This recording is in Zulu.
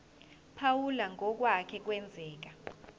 phawula ngokwake kwenzeka